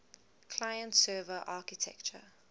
client server architecture